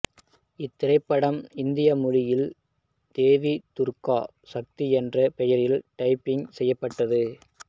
இத்திரைப்படம் இந்தி மொழியில் தேவி துர்கா சக்தி என்ற பெயரில் டப்பிங் செய்யப்பட்டது